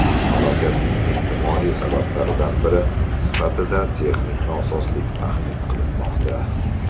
Halokatning ehtimoliy sabablaridan biri sifatida texnik nosozlik taxmin qilinmoqda.